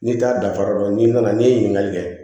N'i t'a danfara dɔn n'i nana n'i ye ɲininkali kɛ